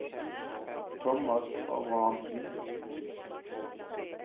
Tomas Abrahamsen